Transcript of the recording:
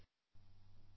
phone ಕರೆ 3